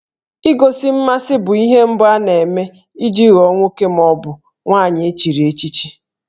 Igosi mmasị bụ ihe mbụ ana-eme iji ghọọ nwoke ma ọ bụ nwaanyị echiri echichi